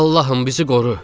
Allahım, bizi qoru!